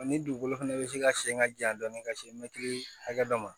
Ni dugukolo fɛnɛ bɛ se ka sen ka ja dɔɔni ka se mɛtiri hakɛ dɔ ma